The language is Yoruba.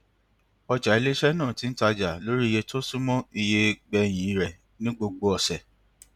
ọjà iléiṣẹ náà ti ń taja lórí iye tó súnmọ iye gbẹyìn rẹ ní gbogbo ọsẹ